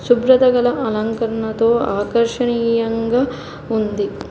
శుభ్రత కలిగిన అలంకరణతో ఆకర్షణీయంగా ఉంది.